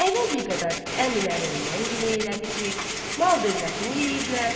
Əvvəl bir qədər əmilərindən giley elədi ki, mal-dövlətini yeyiblər.